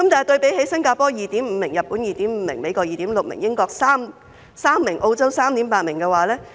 對比之下，新加坡有 2.5 名、日本 2.5 名、美國 2.6 名、英國3名、澳洲 3.8 名。